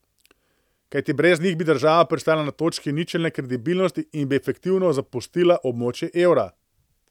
Kajti brez njih bi država pristala na točki ničelne kredibilnosti in bi efektivno zapustila območje evra.